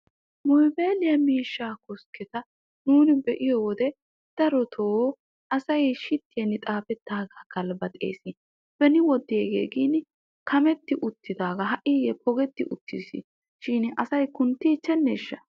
Mobyliyaa miishshaa koskketa nuuni be'iyoo wode darotoo asay shiittiyaan xaafettagaa galbaxees. beni wode gin kametti uttidagaa ha'igee pogetti uttis shin asay kunttiicheneshsha.